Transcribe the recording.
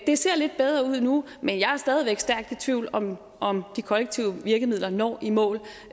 det ser lidt bedre ud nu men jeg er stadig væk stærkt i tvivl om om de kollektive virkemidler når i mål